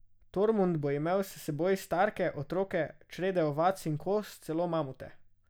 Tormund bo imel s seboj starke, otroke, črede ovac in koz, celo mamute.